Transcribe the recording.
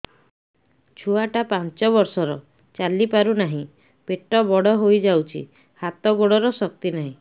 ଛୁଆଟା ପାଞ୍ଚ ବର୍ଷର ଚାଲି ପାରୁନାହଁ ପେଟ ବଡ ହୋଇ ଯାଉଛି ହାତ ଗୋଡ଼ର ଶକ୍ତି ନାହିଁ